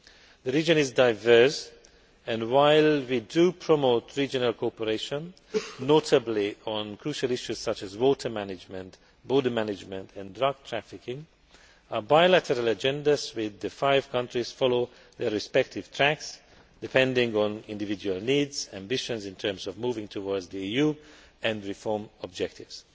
The region is diverse and, while we promote regional cooperation, notably on crucial issues such as water management, border management and drug trafficking, we have bilateral agendas with the five countries following their respective tracks, depending on individual needs and ambitions in terms of moving towards the EU and reform objectives.